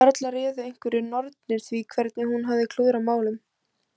Varla réðu einhverjar nornir því hvernig hún hafði klúðrað málum?